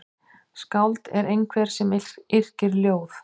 Skáld er einhver sem yrkir ljóð.